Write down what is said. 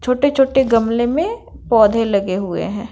छोटे-छोटे गमले में पौधे लगे हुए हैं।